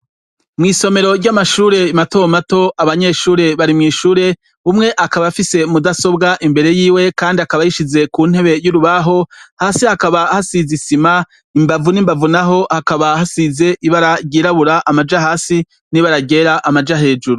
Mw'isomero ry'amashure matomato abanyeshure bari mw'ishure, umwe akaba afise mudasobwa imbere yiwe kandi akaba ayishize ku ntebe y'urubaho, hasi hakaba hasize isima, imbavu n'imbavu naho hakaba hasize ibara ryirabura amaja hasi n'ibara ryera amaja hejuru.